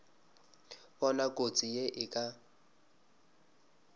bona kotsi ye e ka